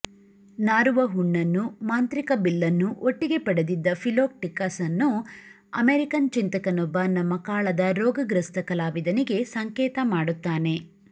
ನಾರುವ ಹುಣ್ಣನ್ನೂ ಮಾಂತ್ರಿಕ ಬಿಲ್ಲನ್ನೂ ಒಟ್ಟಿಗೇ ಪಡೆದಿದ್ದ ಫಿಲೋಕ್ಟಿಕಸ್ಸನ್ನು ಅಮೆರಿಕನ್ ಚಿಂತಕನೊಬ್ಬ ನಮ್ಮ ಕಾಳದ ರೋಗಗ್ರಸ್ತ ಕಲಾವಿದನಿಗೆ ಸಂಕೇತ ಮಾಡುತ್ತಾನೆ